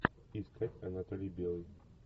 искать анатолий белый